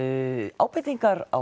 ábendingar á